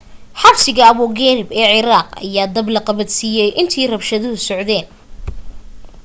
xabsiga abu gharib ee ciraaq ayaa dab la qabadsiiyay intii rabshaduhu socdeen